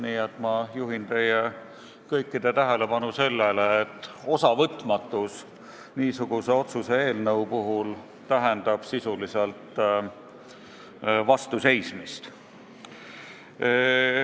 Nii et ma juhin teie kõikide tähelepanu sellele, et osavõtmatus niisuguse otsuse eelnõu puhul tähendab sisuliselt vastuseismist.